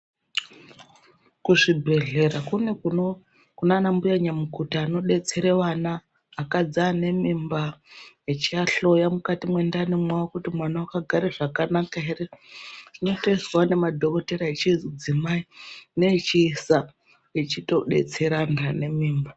Kuzvibhedhlera kune kuno kunana mbuya nyamukuta anobetsere vana, vakadzi vane mimba echiahloya mukati mwendani mwavo kuti mwana vakagara zvakanaka ere. Zvinotoizwavo nemadhokotera echidzimai neechiisa echitobetsera antu anemimba.